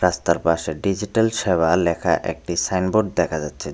রাস্তার পাশে ডিজিটাল সেবা লেখা একটি সাইনবোর্ড দেখা যাচ্ছে।